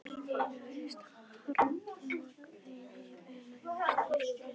Allt í einu heyrðist harmakvein yfirgnæfa snarkið.